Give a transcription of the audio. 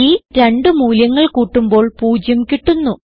ഈ രണ്ടു മൂല്യങ്ങൾ കൂട്ടുമ്പോൾ 0 കിട്ടുന്നു